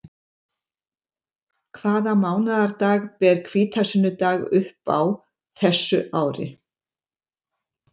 Hvaða mánaðardag ber hvítasunnudag upp á þessu ári?